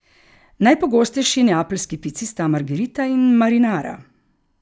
Najpogostejši neapeljski pici sta margerita in marinara.